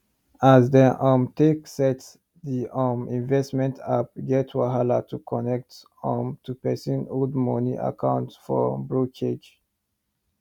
as dem um take set the um investment appe get wahala to connect um to pesin old money account for brokerage